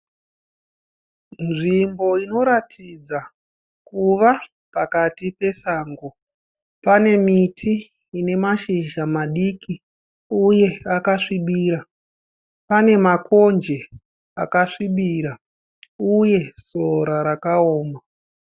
Nzvimbo inoratidza kuva pakati pesango. Pane miti inemashizha madoko. Pane makonje uye pasi panesora rakaoma.